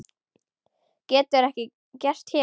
Getur ekki gerst hér.